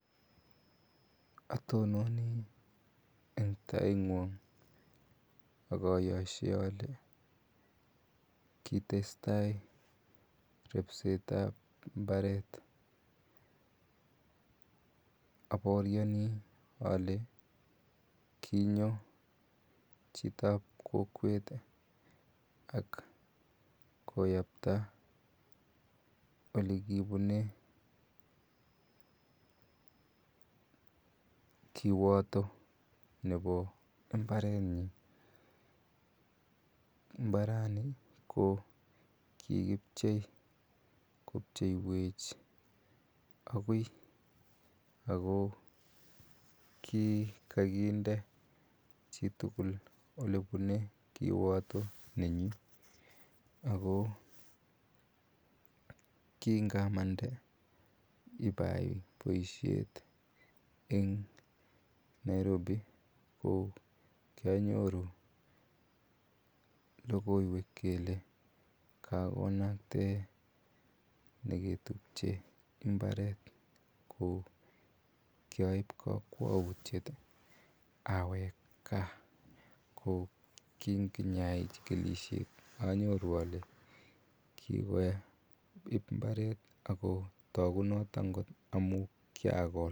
Atononi en tait ng'uang akayashei ale kitestai ribsetab mbaret abaoriani ale kinyo, chitab kokwet ih akoyapta olekibune kiwato nebo mbarenyin. Imbarani ko kikibchei kobcheiech agui Ako kikakinde chitugul olebune, kiwato nenyin, Ako kingamande ibayaibaishet en Nairobi ko kianyoru logoiwek kele kagonaktae neketubche imbaret ko kiaib kakwautiiet awek gaa. Ko kiayai chikilisiet ih anyoru ale kikoib imbaret ihko tagu noton kot amuun kiagol